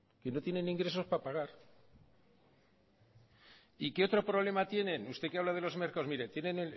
que no tienen ingresos para pagar y qué otro problema tienen usted que habla de los mercados mire tienen